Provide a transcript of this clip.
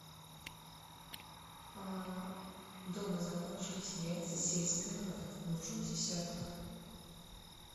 дома закончились яйца сельская новь нужен десяток